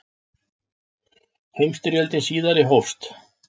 Heimsstyrjöldin síðari hófst.